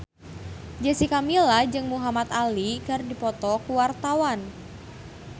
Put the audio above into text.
Jessica Milla jeung Muhamad Ali keur dipoto ku wartawan